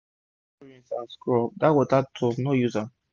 if u never rinse and scrub dat water tub no use am